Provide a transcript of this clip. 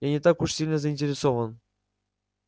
я не так уж сильно заинтересован